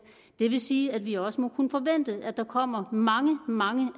det vil sige at vi også må kunne forvente at der kommer mange mange